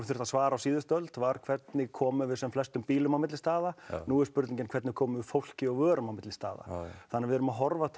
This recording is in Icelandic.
þurfti að svara á síðustu öld var hvernig komum við flestum bílum á milli staða nú er spurningin hvernig komum við fólki og vörum á milli staða þannig við erum að horfa til